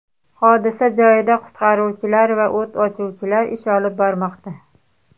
Hodisa joyida qutqaruvchilar va o‘t o‘chiruvchilar ish olib bormoqda.